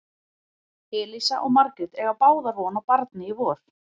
Elísa og Margrét eiga báðar von á barni í vor.